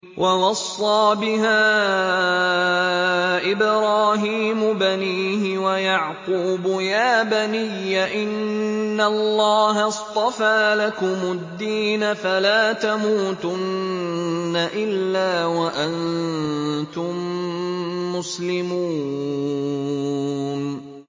وَوَصَّىٰ بِهَا إِبْرَاهِيمُ بَنِيهِ وَيَعْقُوبُ يَا بَنِيَّ إِنَّ اللَّهَ اصْطَفَىٰ لَكُمُ الدِّينَ فَلَا تَمُوتُنَّ إِلَّا وَأَنتُم مُّسْلِمُونَ